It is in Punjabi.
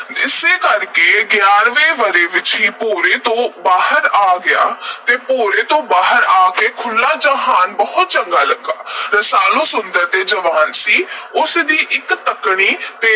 ਇਸੇ ਕਰਕੇ ਉਹ ਗਿਆਰ੍ਹਵੇਂ ਵਰ੍ਹੇ ਵਿਚ ਹੀ ਭੋਰੇ ਤੋਂ ਬਾਹਰ ਆ ਗਿਆ ਤੇ ਭੋਰੇ ਤੋਂ ਬਾਹਰ ਦਾ ਖੁੱਲ੍ਹਾ ਜਹਾਨ ਬਹੁਤ ਚੰਗਾ ਲੱਗਾ। ਰਸਾਲੂ ਸੁੰਦਰ ਤੇ ਜਵਾਨ ਸੀ। ਉਸ ਦੀ ਇਕ ਤੱਕਣੀ